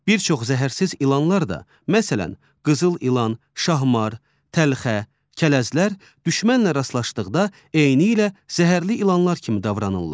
Bir çox zəhərsiz ilanlar da, məsələn, qızıl ilan, şahmar, təlxə, kələzlər düşmənlə rastlaşdıqda eynilə zəhərli ilanlar kimi davranırlar.